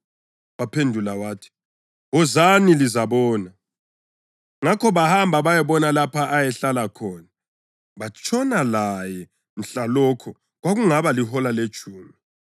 Waphendula wathi, “Wozani, lizabona.” Ngakho bahamba bayabona lapho ayehlala khona, batshona laye mhlalokho. Kwakungaba lihola letshumi.